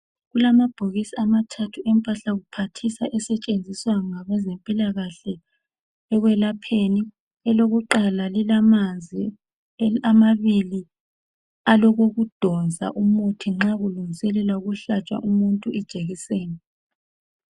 Kulamabhokisi amathathu emphahla kuphathisa esetshenziswa ngabezempilakahle ekwelapheni .Elokuqala lilamanzi .Amabili alokokudonsa umuthi nxa kulungiselelwa ukuhlatshwa umuntu ijekiseni.